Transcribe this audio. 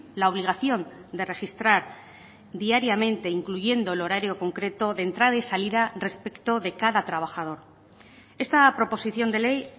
la obligación de registrar diariamente incluyendo el horario concreto de entrada y salida respecto de cada trabajador esta proposición de ley